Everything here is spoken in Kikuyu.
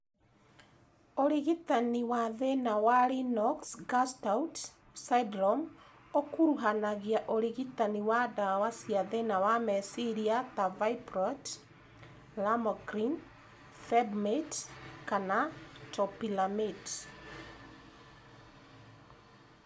ũrigitani wa thĩna wa Lennox Gastaut syndrome ũkuruhanagia ũrigitani wa ndawa cia thĩna wa meciria ta valproate, lamotrigine, felbamate, kana topiramate.